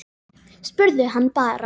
Spurðu hann bara.